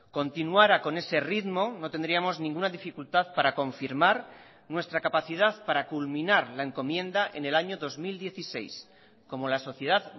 continuara con ese ritmo no tendríamos ninguna dificultad para confirmar nuestra capacidad para culminar la encomienda en el año dos mil dieciséis como la sociedad